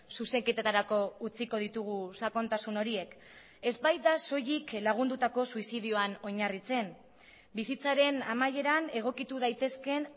zuzenketetarako utziko ditugu sakontasun horiek ez baita soilik lagundutako suizidioan oinarritzen bizitzaren amaieran egokitu daitezkeen